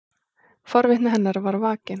Forvitni hennar er vakin.